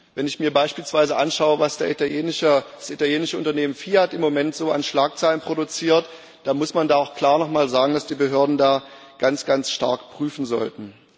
Wenn ich mir beispielsweise anschaue, was das italienische Unternehmen Fiat im Moment so an Schlagzeilen produziert, dann muss man da auch klar nochmal sagen, dass die Behörden da ganz, ganz stark prüfen sollten.